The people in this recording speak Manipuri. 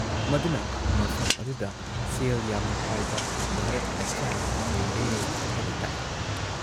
ꯃꯗꯨꯅ ꯃꯐꯝ ꯑꯗꯨꯗ ꯁꯦꯜ ꯌꯥꯝꯅ ꯄꯥꯏꯕ ꯚꯥꯔꯠꯃꯆꯥ ꯌꯥꯝꯅ ꯂꯩꯔꯦ ꯍꯥꯏꯕ ꯇꯥꯛꯏ ꯫